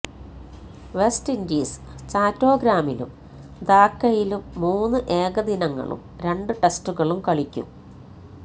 west Indies ചാറ്റോഗ്രാമിലും ധാക്കയിലും മൂന്ന് ഏകദിനങ്ങളും രണ്ട് ടെസ്റ്റുകളും കളിക്കും